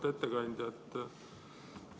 Auväärt ettekandja!